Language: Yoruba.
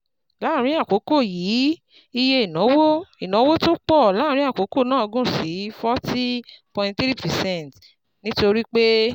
Láàárín àkókò yìí, iye ìnáwó ìnáwó tó pọ̀ láàárín àkókò náà gùn sí 40,3 percent, nítorí pé